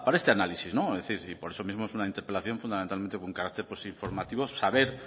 este análisis y por eso mismo es una interpelación fundamentalmente con carácter informativo saber